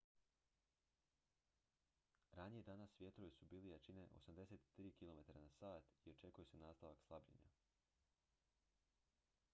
ranije danas vjetrovi su bili jačine 83 km/h i očekuje se nastavak slabljenja